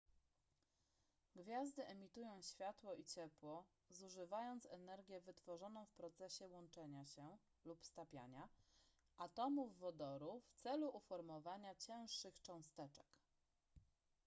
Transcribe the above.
gwiazdy emitują światło i ciepło zużywając energię wytworzoną w procesie łączenia się lub stapiania atomów wodoru w celu uformowania cięższych cząsteczek